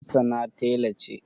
Hassana tela ce.